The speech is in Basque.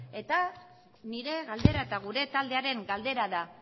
eta nire galdera eta gure taldearen galdera da